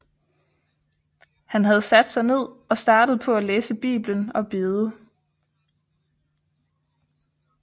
Han havde sat sig ned og startet på at læse Bibelen og bede